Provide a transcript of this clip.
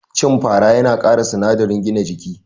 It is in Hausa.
Cin fara yana kara sinadarin gina jiki